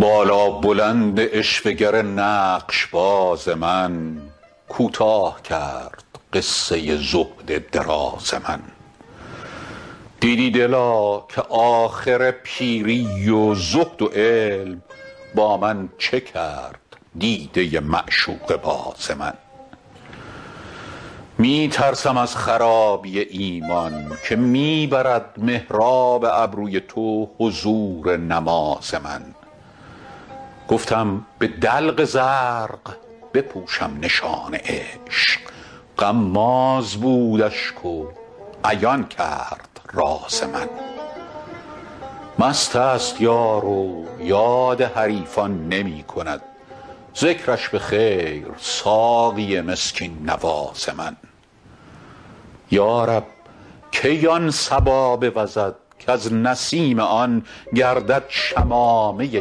بالابلند عشوه گر نقش باز من کوتاه کرد قصه زهد دراز من دیدی دلا که آخر پیری و زهد و علم با من چه کرد دیده معشوقه باز من می ترسم از خرابی ایمان که می برد محراب ابروی تو حضور نماز من گفتم به دلق زرق بپوشم نشان عشق غماز بود اشک و عیان کرد راز من مست است یار و یاد حریفان نمی کند ذکرش به خیر ساقی مسکین نواز من یا رب کی آن صبا بوزد کز نسیم آن گردد شمامه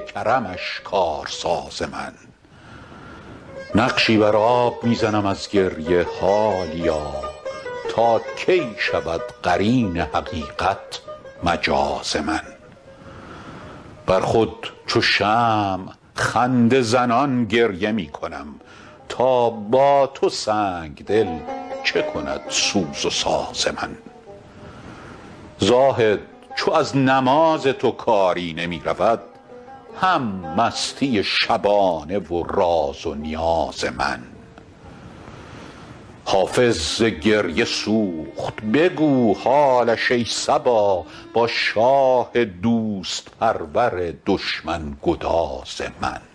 کرمش کارساز من نقشی بر آب می زنم از گریه حالیا تا کی شود قرین حقیقت مجاز من بر خود چو شمع خنده زنان گریه می کنم تا با تو سنگ دل چه کند سوز و ساز من زاهد چو از نماز تو کاری نمی رود هم مستی شبانه و راز و نیاز من حافظ ز گریه سوخت بگو حالش ای صبا با شاه دوست پرور دشمن گداز من